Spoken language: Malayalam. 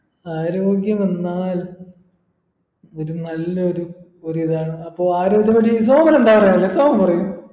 ആരോഗ്യമെന്നാൽ ഒരു നല്ലൊരു ഒരിതാണ് അപ്പൊ ആരോഗ്യത്തെ പറ്റി സോമൻ എന്താ പറയാനില്ലേ സോമൻ പറയൂ